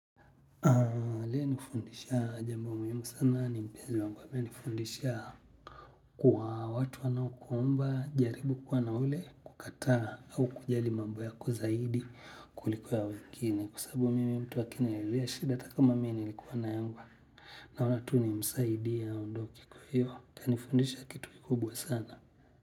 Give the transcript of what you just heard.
Aliyenifundisha jambo muhimu sana ni mpenzi wangu amenifundisha kwa watu wanaokuomba, jaribu kuwa na ule kukataa au kujali mambo yako zaidi kuliko wengine kwa sababu mimi mtu akiniliwea shida hata kama mimi nilikuwa na yangu ama tu nimsaidie aondoke kwa hiyo amenifundisha kitu kikubwa sana.